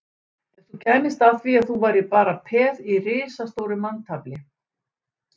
Ef þú kæmist að því að þú værir bara peð í risastóru manntafli